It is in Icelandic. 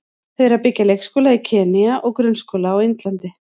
Þau eru að byggja leikskóla í Kenýa og grunnskóla á Indlandi.